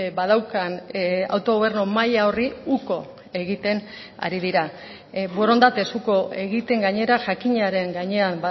badaukan autogobernu maila horri uko egiten ari dira borondatez uko egiten gainera jakinaren gainean